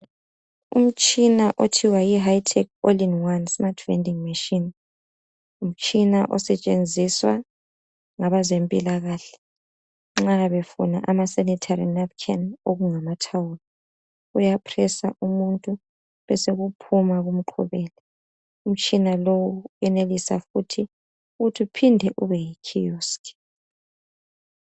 Umtshina othiwa yihightech all in one smart vending machine ngumtshina osetshenziswa ngabezempilakahle nxa befuna okungamasanitary napkin amathawulo, uyapressor umuntu besekuphuma kumqhubele. Umtshina lo uyenelisa futhi ukuthi uphinde ube yikiosk.